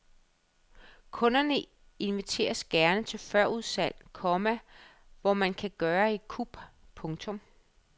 Kunderne inviteres gerne til førudsalg, komma hvor man kan gøre et kup. punktum